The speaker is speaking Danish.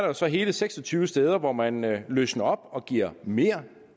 også hele seks og tyve steder hvor man løsner op og giver mere